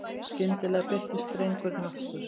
Skyndilega birtist drengurinn aftur.